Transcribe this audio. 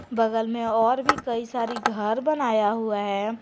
बगल में और भी कई सारी घर बनाया हुआ है।